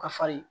Ka farin